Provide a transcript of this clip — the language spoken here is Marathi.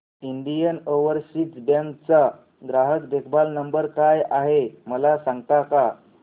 इंडियन ओवरसीज बँक चा ग्राहक देखभाल नंबर काय आहे मला सांगता का